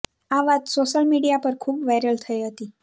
આ વાત social media પર ખૂબ વાયરલ થઇ હતી